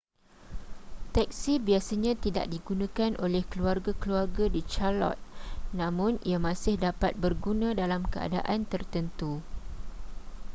teksi biasanya tidak digunakan oleh keluarga-keluarga di charlotte namun ia masih dapat berguna dalam keadaan tertentu